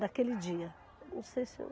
daquele dia, não sei se.